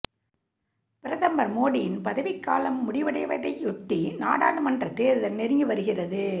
பிரதமர் மோடியின் பதவிக்காலம் முடிவடைவதையொட்டி நாடாளுமன்ற தேர்தல் நெருங்கி வருகிறது